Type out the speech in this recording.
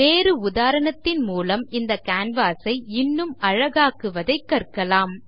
வேறு உதாரணத்தின் மூலம் இந்த canvas ஐ இன்னும் அழகாக்குவதை கற்கலாம்